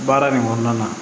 Baara nin kɔnɔna na